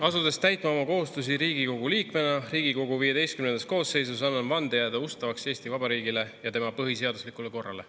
Asudes täitma oma kohustusi Riigikogu liikmena Riigikogu XV koosseisus, annan vande jääda ustavaks Eesti Vabariigile ja tema põhiseaduslikule korrale.